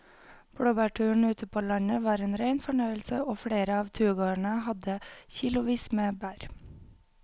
Blåbærturen ute på landet var en rein fornøyelse og flere av turgåerene hadde kilosvis med bær.